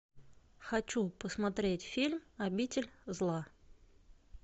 хочу посмотреть фильм обитель зла